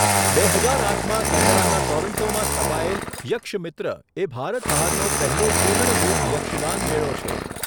બે હજાર આઠમાં કેનેડાના ટોરોન્ટોમાં સ્થપાયેલ યક્ષમિત્ર એ ભારત બહારનો પહેલો પૂર્ણરૂપ યક્ષગાન મેળો છે.